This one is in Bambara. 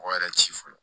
Mɔgɔ yɛrɛ ci fɔlɔ